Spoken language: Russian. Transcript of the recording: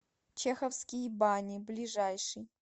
чеховские бани ближайший